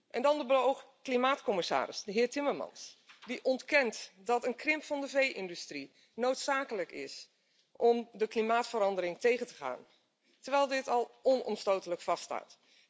En dan de beoogde klimaatcommissaris, de heer Timmermans, die ontkent dat een krimp van de vee industrie noodzakelijk is om de klimaatverandering tegen te gaan, terwijl dit al onomstotelijk vaststaat.